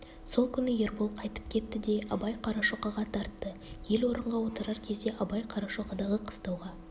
сол күні ербол қайтып кетті де абай қарашоқыға тартты ел орынға отырар кезде абай қарашоқыдағы қыстауға